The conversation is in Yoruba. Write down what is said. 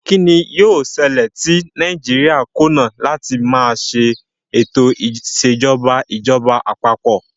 Kín ni yóò ṣẹlẹ̀ tí Nàìjíríà kùnà láti máa ṣe ètò ìṣèjọba ìjọba àpapọ̀?